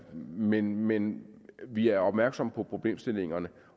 men men vi er opmærksomme på problemstillingerne